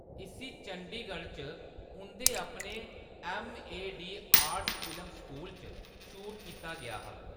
इस्सी चंडीगढ़ च उंʼदे अपने M. A. D. Arts film school च शूट कीता गेआ हा।